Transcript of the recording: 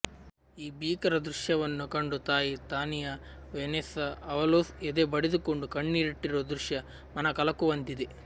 ಈ ಭೀಕರ ದೃಶ್ಯವನ್ನು ಕಂಡು ತಾಯಿ ತಾನಿಯಾ ವೆನೆಸ್ಸಾ ಅವಲೋಸ್ ಎದೆ ಬಡಿದುಕೊಂಡು ಕಣ್ಣೀರಿಟ್ಟಿರುವ ದೃಶ್ಯ ಮನಕಲಕುವಂತಿದೆ